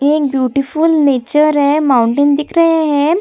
ये beautiful nature है mountain दिख रहे है |